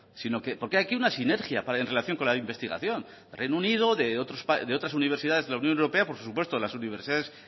porque aquí hay una sinergia en relación con la investigación de reino unido de otras universidades de la unión europea por supuesto las universidades